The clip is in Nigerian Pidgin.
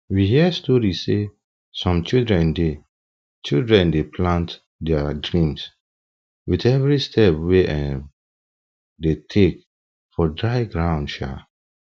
we hear story say some children dey children dey plant their dreams with every step wey um dem take for dry ground um